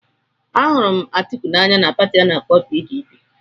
Ahụrụ Atiku n'anya na Pati ana-akpo PDP.